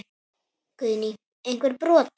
Guðný: Einhver brot?